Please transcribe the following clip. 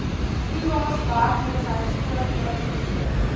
toelaes werkloosheidvoordele vergoeding